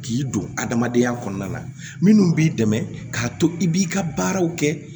K'i don adamadenya kɔnɔna na minnu b'i dɛmɛ k'a to i b'i ka baaraw kɛ